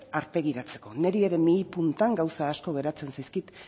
aurpegiratzeko niri ere mihi puntan gauza asko geratzen zaizkit